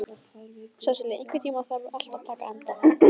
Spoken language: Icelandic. Sesilía, einhvern tímann þarf allt að taka enda.